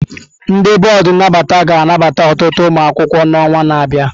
Ndị bọọdụ nnabata ga-anabata ọtụtụ ụmụ akwụkwọ n'ọnwa na-abịa.